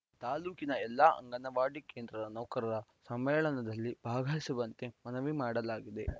ತಾಲೂಕಿನ ಎಲ್ಲ ಅಂಗವಾಡಿ ಕೇಂದ್ರದ ನೌಕರರ ಸಮ್ಮೇಳನದಲ್ಲಿ ಭಾಗವಹಿಸುವಂತೆ ಮನವಿ ಮಾಡಲಾಗಿದೆ